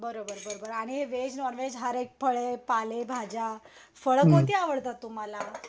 बर बर बर बर आणि वेज नॉनव्हेज हर एक फळे पालेभाज्या फळ कोणती आवडतात तुम्हाला?